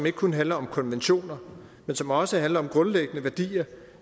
ikke kun handler om konventioner men som også handler om grundlæggende værdier